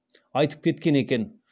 айтып кеткен екен